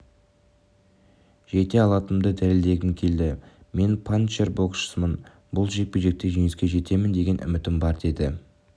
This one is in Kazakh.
жете алатынымды дәлелдегім келді мен панчер боксшымын бұл жекпе-жекте жеңіске жетемін деген үмітім бар деді